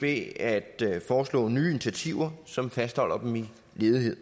ved at foreslå nye initiativer som fastholder dem i ledighed